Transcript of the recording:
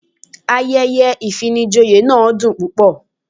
Ayẹyẹ ìfinijoyè náà dùn púpọ̀.